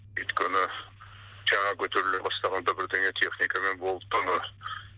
өйткені жаңа көтеріле бастағанда бірдеңе техникамен болып тұр ғой